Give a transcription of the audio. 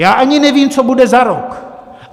Já ani nevím, co bude za rok.